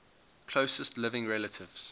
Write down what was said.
closest living relatives